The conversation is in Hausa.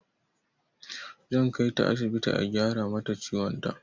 Zan kaita asibiti a gyara mata ciwon ta.